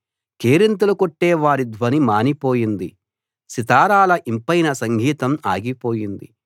కేరింతలు కొట్టే వారి ధ్వని మానిపోయింది సితారాల ఇంపైన సంగీతం ఆగి పోయింది